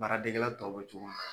Baara degela tɔw bɛ cogo min na.